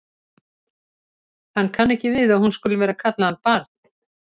Hann kann ekki við að hún skuli vera að kalla hann barn.